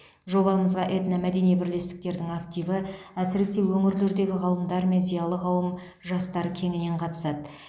жобамызға этномәдени бірлестіктердің активі әсіресе өңірлердегі ғалымдар мен зиялы қауым жастар кеңінен қатысады